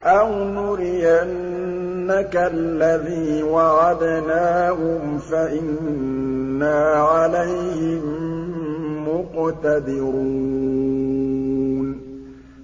أَوْ نُرِيَنَّكَ الَّذِي وَعَدْنَاهُمْ فَإِنَّا عَلَيْهِم مُّقْتَدِرُونَ